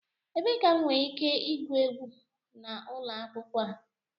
Ebee ka m nwere ike igwu egwu n'ụlọ akwụkwọ a?